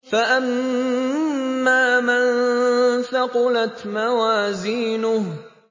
فَأَمَّا مَن ثَقُلَتْ مَوَازِينُهُ